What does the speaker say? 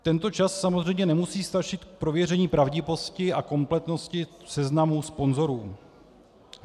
Tento čas samozřejmě nemusí stačit k prověření pravdivosti a kompletnosti seznamu sponzorů.